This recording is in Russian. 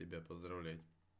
тебя поздравлять